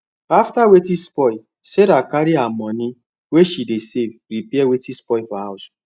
after wetin spoil sarah carry her money wey she dey save repair wetin spoil for house